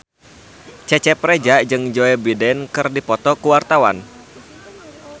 Cecep Reza jeung Joe Biden keur dipoto ku wartawan